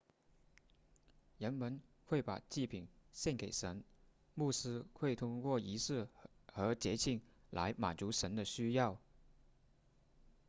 人们会把祭品献给神牧师会通过仪式和节庆来满足神的需要